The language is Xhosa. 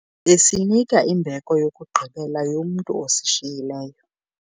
Besiyinika imbeko yokugqibela yomntu osishiyileyo.